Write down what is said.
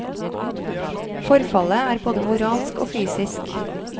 Forfallet er både moralsk og fysisk.